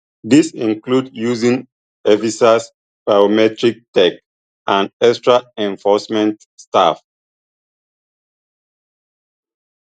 dis include using evisas biometric tech and extra enforcement staff